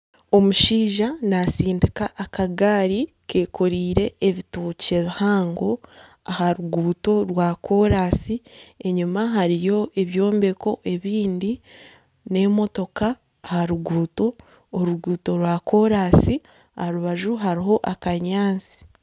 Omushaija natsindika akagaari kekoreire ebitookye bihango aha ruguuto rwa koransi enyuma hariyo ebyombeko ebindi nana emotoka aha ruguuto oruguuto rwakorasi aha rubaju hariho akanyaatsi.